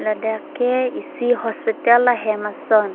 ladak ke isi hospital ahem ason.